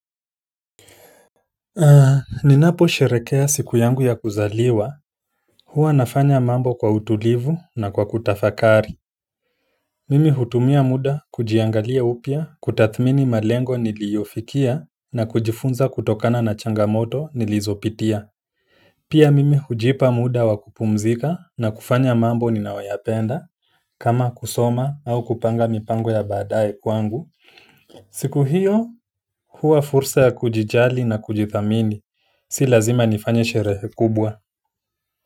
Ninapo sherehekea siku yangu ya kuzaliwa hua nafanya mambo kwa utulivu, na kwa kutafakari mimi hutumia muda kujiangalia upya, kutathmini malengo niliyofikia, na kujifunza kutokana na changamoto nilizopitia pia mimi hujipa muda wa kupumzika, na kufanya mambo ninayoyapenda, kama kusoma au kupanga mipango ya baadae kwangu siku hiyo huwa fursa ya kujijali na kujithamini, si lazima nifanye sherehe kubwa.